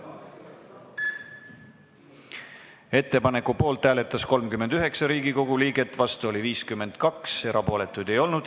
Hääletustulemused Ettepaneku poolt hääletas 39 Riigikogu liiget, vastu oli 52, erapooletuid ei olnud.